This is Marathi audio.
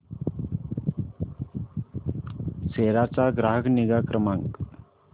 सेरा चा ग्राहक निगा क्रमांक